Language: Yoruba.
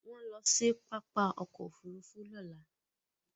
Wọ́n ń lọ sí pápá ọkọ̀-òfurufú lọ́la.